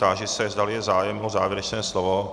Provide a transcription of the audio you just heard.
Táži se, zda je zájem o závěrečné slovo.